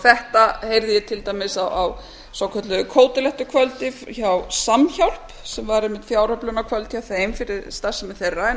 þetta heyrði ég til dæmis á svokölluðu kótilettukvöldi hjá samhjálp sem var einmitt fjáröflunarkvöld hjá þeim fyrir starfsemi þeirra